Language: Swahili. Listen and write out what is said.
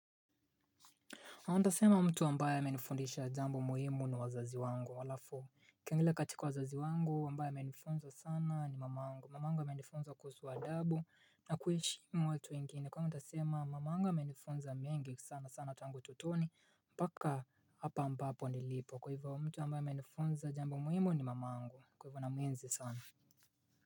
Naweza sema mtu ambae amenifundisha jambo muhimu ni wazazi wangu, alafu, ila katika wazazi wangu, wambae amenifunza sana ni mama angu, mama angu menifunza kusu aadabu, na kuheshimu watu wengine, kwaiyo nitasema mama angu menifunnza menge sana sana tangu ututoni, mpaka hapa ambapo nilipo, kwa hivyo mtu ambaye amenifunza jambo muhimu ni mamangu, kwa hivyo na muenzi sana.